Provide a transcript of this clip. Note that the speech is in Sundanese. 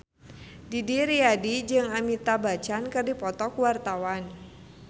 Didi Riyadi jeung Amitabh Bachchan keur dipoto ku wartawan